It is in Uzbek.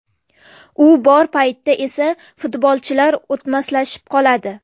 U bor paytda esa futbolchilar o‘tmaslashib qoladi.